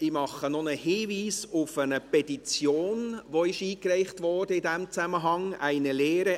Ich mache noch einen Hinweis auf eine Petition, die in diesem Zusammenhang eingereicht wurde: